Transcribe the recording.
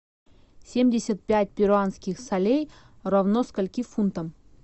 семьдесят пять перуанских солей равно скольки фунтам